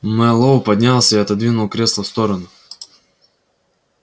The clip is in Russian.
мэллоу поднялся и отодвинул кресло в сторону